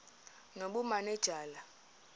nobumanejala